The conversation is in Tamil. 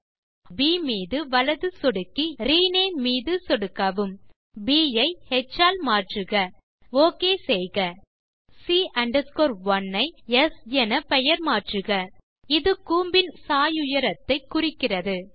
ஆப்ஜெக்ட் ப் மீது வலது சொடுக்கவும் ரினேம் மீது சொடுக்கவும் ப் ஐ ஹ் ஆல் மாற்றுக ஓகே செய்க மேலும் ஆப்ஜெக்ட் c 1 ஐ ஸ் என பெயர் மாற்றுக இது கூம்பின் சாயுயரத்தை குறிக்கிறது